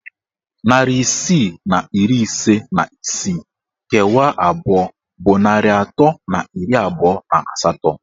Narị isii na iri ise na isii kewaa abụọ bụ narị atọ na iri abụọ na asatọ.